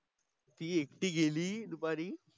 ति एकटी गेली दुपारी.